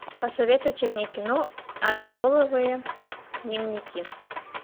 посоветуйте мне кино аддеролловые дневники